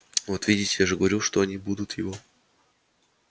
вот видите я же говорил что они будут его